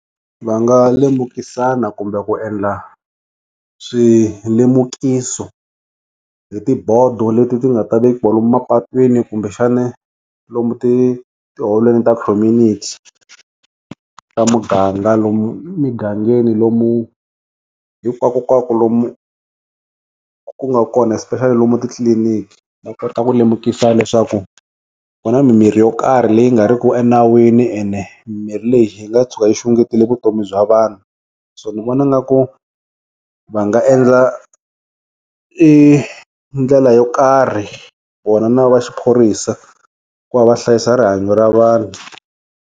Va nga lemukisana kumbe ku endla swilemukiso hi tibhodo leti ti nga ti vekiwa lomu mapatwini kumbe xana lomu ti tiholweni ta community ta muganga lomu migangeni lomu hinkwakunkwaku lomu ku nga kona especially lomu titliliniki ta kota ku lemukisa leswaku ku na mimirhi yo karhi leyi nga riki enawini ene mirhi leyi hi nga tshuka yi xungetele vutomi bya vanhu so ni vona nga ku va nga endla i ndlela yo karhi ku va na va xiphorisa ku va va hlayisa rihanyo ra vanhu.